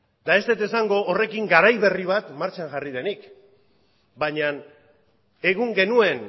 eta ez dut esango horrekin garai berri bat martxan jarri denik baina egun genuen